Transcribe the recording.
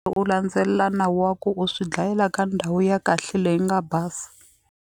U landzelela nawu wa ku u swi dlayela ka ndhawu ya kahle leyi nga basa.